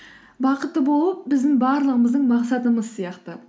бақытты болу біздің барлығымыздың мақсатымыз сияқты